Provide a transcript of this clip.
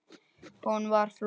Hún var flott.